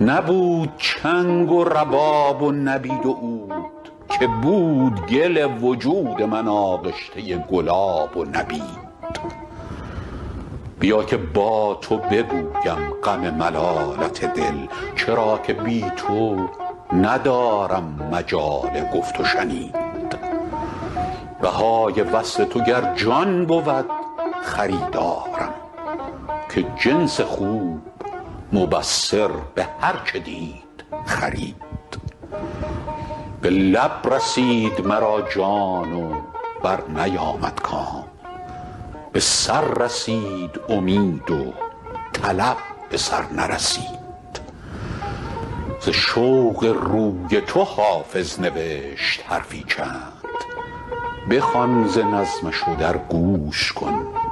نبود چنگ و رباب و نبید و عود که بود گل وجود من آغشته گلاب و نبید بیا که با تو بگویم غم ملالت دل چرا که بی تو ندارم مجال گفت و شنید بهای وصل تو گر جان بود خریدارم که جنس خوب مبصر به هر چه دید خرید چو ماه روی تو در شام زلف می دیدم شبم به روی تو روشن چو روز می گردید به لب رسید مرا جان و برنیامد کام به سر رسید امید و طلب به سر نرسید ز شوق روی تو حافظ نوشت حرفی چند بخوان ز نظمش و در گوش کن چو مروارید